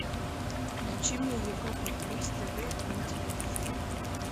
включи мне европа плюс тв на телевизоре